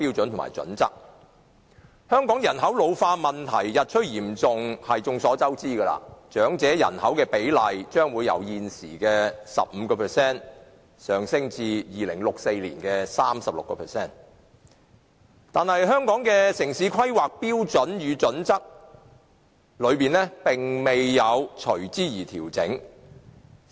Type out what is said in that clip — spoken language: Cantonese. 眾所周知，香港人口老化問題日趨嚴重，長者人口比例將會由現時的 15% 上升至2064年的 36%， 但《規劃標準》沒有隨之作出調整。